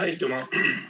Aitüma!